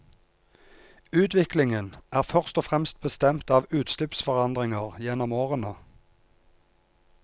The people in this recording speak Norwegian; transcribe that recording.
Utviklingen er først og fremst bestemt av utslippsforandringer gjennom årene.